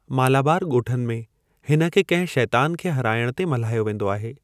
मालाबार ॻोठनि में, हिन खे कंहिं शैतान खे हराइण ते मल्हायो वेंदो आहे।